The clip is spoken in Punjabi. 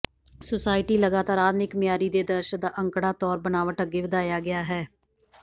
ਸੁਸਾਇਟੀ ਲਗਾਤਾਰ ਆਧੁਨਿਕ ਮਿਆਰੀ ਦੇ ਆਦਰਸ਼ ਦਾ ਅੰਕੜਾ ਤੌਰ ਬਨਾਵਟ ਅੱਗੇ ਵਧਾਇਆ ਗਿਆ ਹੈ